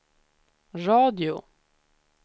radio